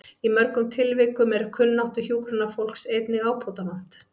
Í mörgum tilvikum er kunnáttu hjúkrunarfólks einnig ábótavant.